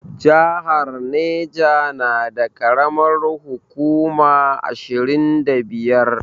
Jihar Neja na da karamar hukuma ashirin da biyar